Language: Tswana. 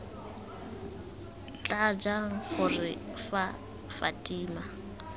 tla jang gore fa fatima